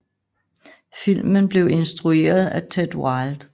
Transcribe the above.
Filmen blev instrueret af Ted Wilde